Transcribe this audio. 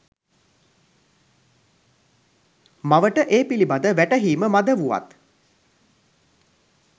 මවට ඒ පිළිබඳ වැටහීම මඳ වුවත්